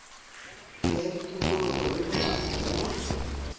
ya tikologo le bojanala le